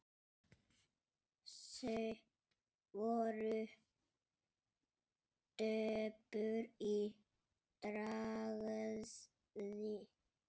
Þau voru döpur í bragði.